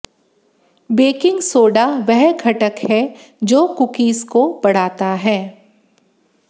baking soda वह घटक है जो कुकीज़ को बढ़ाता है